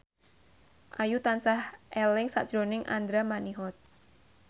Ayu tansah eling sakjroning Andra Manihot